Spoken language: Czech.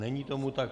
Není tomu tak.